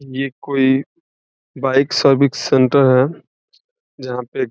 ये कोई bike service centre है जहाँ पे --